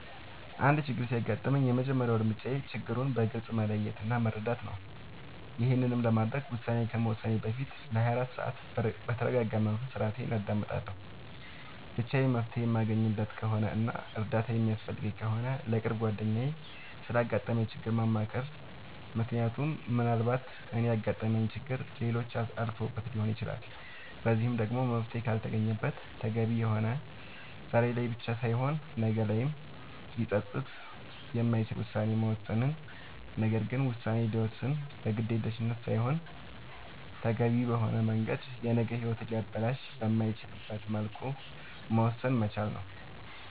አንድ ችግር ሲያጋጥመኝ የመጀመሪያ እርምጃዬ ችግሩን በግልፅ መለየት እና መረዳት ነዉ ይሄንንም ለማድረግ ውሳኔ ከመወሰኔ በፊት ለ24 ሰዓት በተርጋጋ መንፈስ እራሴን አዳምጣለሁ ብቻዬን መፍትሄ የማለገኝለት ከሆነና እርዳታ የሚያስፈልገኝ ከሆነ ለቅርብ ጓደኛዬ ስላጋጠመኝ ችግር ማማከር ምክንያቱም ምናልባት እኔ ያጋጠመኝን ችግር ሌሎች አልፈውበት ሊሆን ይችላል በዚህም ደግሞ መፍትሄ ካልተገኘለት ተገቢ የሆነና ዛሬ ላይ ብቻ ሳይሆን ነገ ላይም ሊፀፅት የማይችል ውሳኔን መወሰን ነገር ግን ውሳኔ ሲወሰን በግዴለሽነት ሳይሆን ተገቢውን በሆነ መንገድ የነገ ሂወትን ሊያበላሽ በማይችልበት መልኩ መወሰን መቻል ነዉ